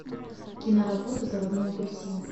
киноработа заводной апельсин